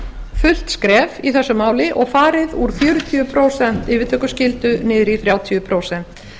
fullt skref í þessu máli og farið úr fjörutíu prósent yfirtökuskyldu niður í þrjátíu prósent